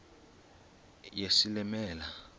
yesilimela